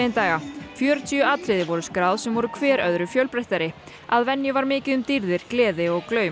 daga fjörutíu atriði voru skráð sem voru hver öðru fjölbreyttari að venju var mikið um dýrðir gleði og